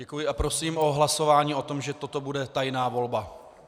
Děkuji a prosím o hlasování o tom, že toto bude tajná volba.